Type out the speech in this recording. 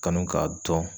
Kanu k'a dɔn